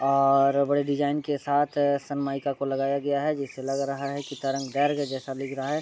और बड़े डिज़ाइन के साथ सनमइका को लगाया गया है जिससे लग रहा है की तरंग गर जैसा दिख रहा है।